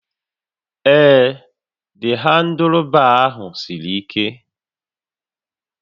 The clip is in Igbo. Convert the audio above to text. Ee, handụlbaa ahụ siri ike